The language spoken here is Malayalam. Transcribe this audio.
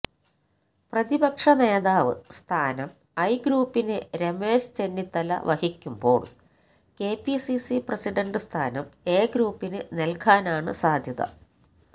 പ്രതിപക്ഷ നേതാവ് സ്ഥാനം ഐ ഗ്രൂപ്പിന്രെ രമേശ് ചെന്നിത്തല വഹിക്കുമ്പോൾ കെപിസിസി പ്രസിഡൻഡ് സ്ഥാനം എ ഗ്രൂപ്പിന് നൽകാനാണ് സാധ്യത